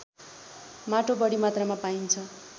माटो बढी मात्रामा पाइन्छ